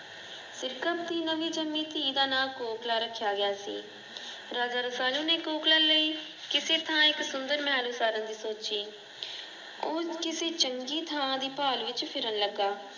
ਸਿਰਕਤ ਦੀ ਨਵੀਂ ਜਨਮੀ ਧੀ ਦਾ ਨਾਂ ਕੋਕਿਲਾ ਰੱਖਿਆ ਗਿਆ ਸੀ। ਰਾਜਾ ਰਸਾਲੂ ਨੇ ਕੋਕਿਲਾ ਲਈ ਕਿਸੇ ਥਾਂ ਇੱਕ ਸੁੰਦਰ ਮਹਲ ਉਸਾਰਨ ਦੀ ਸੋਚੀ। ਉਹ ਇਕ ਚੰਗੀ ਥਾਂ ਦੀ ਭਾਲ ਵਿੱਚ ਫਿਰਨ ਲੱਗਾ।